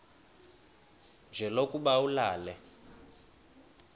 nje lokuba ulale